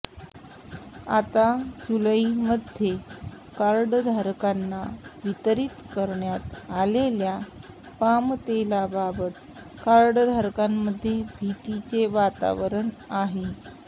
आता जुलैमध्ये या कार्डधारकांना वितरित करण्यात आलेल्या पामतेलाबाबत कार्डधारकांमध्ये भीतीचे वातावरण आहे